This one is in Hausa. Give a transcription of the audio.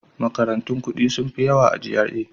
Makarantun kuɗi sun fi yawa a GRA.